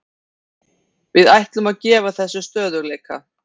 Við ætlum að gefa þessu stöðugleika.